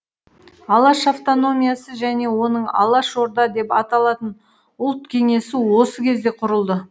алаш автономиясы және оның алашорда деп аталатын ұлт кеңесі осы кезде құрылды